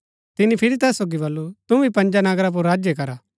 तिनी फिरी तैस सोगी बल्लू तु भी पँजा नगरा पुर राज्य कर